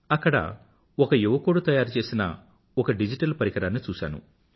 అక్కడ ఒక యువకుడు తయారుచేసిన ఒక డిజిటల్ పరికరాన్ని చూసాను